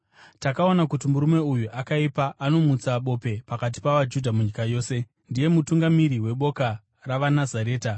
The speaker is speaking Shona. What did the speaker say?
“Takaona kuti murume uyu akaipa, anomutsa bope pakati pavaJudha munyika yose. Ndiye mutungamiri weboka ravaNazareta